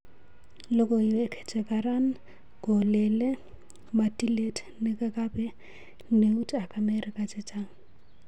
Logowek che karan kolele ma tilet negenape neut ak amerika chechang